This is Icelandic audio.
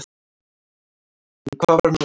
En hvað var nú?